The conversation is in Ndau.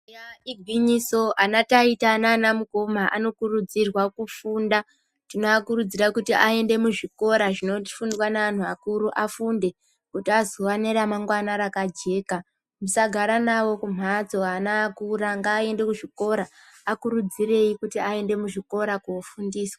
Eya igwinyiso, anataita naanamukoma anokurudzirwa kufunda, tinoakurudzira kuti aende muzvikora zvinofundwa ne antu akuru afunde kuti azova neramamgwana rakajeka, musagara nawo kumhatso ana akura, akurudzirei kuti aende muzvikora koofundiswa.